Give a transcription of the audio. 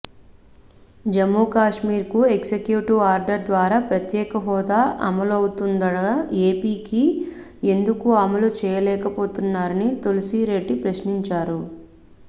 జమ్మూకాశ్మీర్కు executive order ద్వారా ప్రత్యేక హోదా అమలవుతుండగా ఏపీకి ఎందుకు అమలు చేయలేకపోతున్నారని తులసిరెడ్డి ప్రశ్నించారు